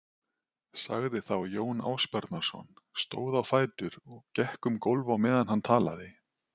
sagði þá Jón Ásbjarnarson, stóð á fætur og gekk um gólf á meðan hann talaði